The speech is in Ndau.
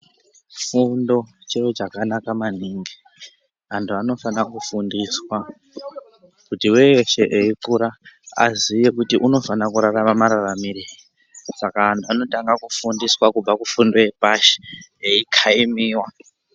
Fundo chiro chakanaka maningi. Antu anofana kufundiswa kuti veshe veikura vaziye kuti unofanire kurarama mararamire saka antu anotanga kufundiswa kubva kufundo yepashi eikhaimiwa.